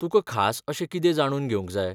तुकां खास अशें कितें जाणून घेवंक जाय?